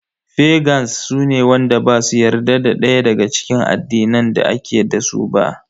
Fagans su ne wanda basu yarda da daya daga cikin addinan da ake dasu ba.